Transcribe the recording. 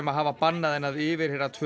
hafa bannað henni að yfirheyra tvö